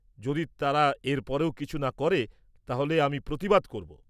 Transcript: যদি তারা এর পরেও কিছু না করে, তাহলে আমি প্রতিবাদ করব।